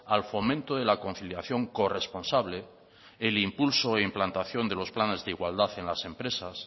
al fomento de la conciliación corresponsable el impulso e implantación de los planes de igualdad en las empresas